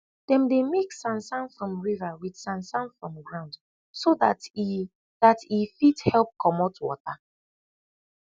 dem dey mix sansan from riva wit sansan from ground so dat e dat e fit help comot wata